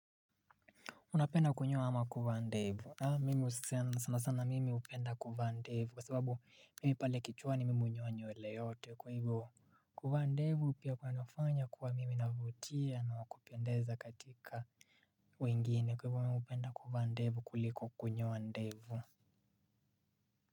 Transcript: Unapenda kunyoa ama kuwa ndevu. Mimi sana sana mimi upenda kuvaa ndevu kwa sababu mimi pale kichwani mimi hunyoa nyewele yote kwa ivo kuvaa ndevu pia kunanifanya kuwa mimi navutia na wakupendeza katika wengine kwa ivo mimi hupenda kuvaa ndevu kuliko kunyoa ndevu.